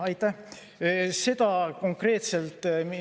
Aitäh!